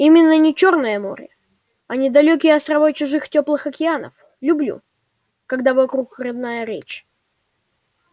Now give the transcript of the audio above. именно на чёрное море а не на далёкие острова чужих тёплых океанов люблю когда вокруг родная речь